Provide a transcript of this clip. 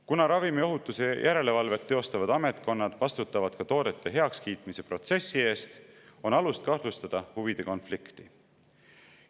Kuna ravimiohutuse järelevalvet teostavad ametkonnad vastutavad ka toodete heakskiitmise protsessi eest, on alust kahtlustada huvide konflikti.